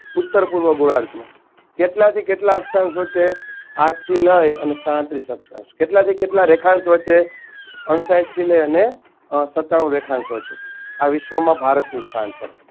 ઉત્તરપૂર્વ ગોરાર્ધ કેટલાથી કેટલા અક્ષાંશ વચ્ચે આઠથી લઈ અને સાડત્રીસ અક્ષાંશ કેટલાથી કેટલા રેખાંશ વચ્ચે અણસાહીઠથી લઈને સત્તાણુ રેખાંશ વચ્ચે આ વિશ્વમાં ભારતનું સ્થાન છે